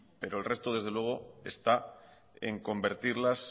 pero el resto desde luego está en convertirlas